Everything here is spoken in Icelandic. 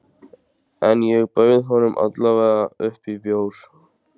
En ég bauð honum alla vega upp á bjór.